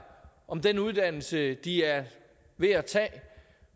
om den uddannelse de er ved at tage